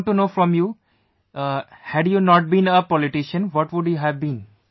I want to know from you; had you not been a politician, what would you have been